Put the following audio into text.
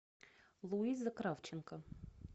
луиза кравченко